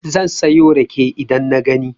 Zan sayo rake idan na gani.